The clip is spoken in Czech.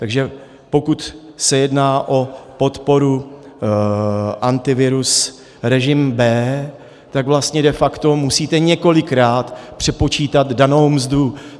Takže pokud se jedná o podporu antivirus režim B, tak vlastně de facto musíte několikrát přepočítat danou mzdu.